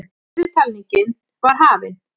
Niðurtalningin var hafin.